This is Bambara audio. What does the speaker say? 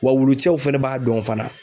Wa wulucɛw fɛnɛ b'a dɔn fana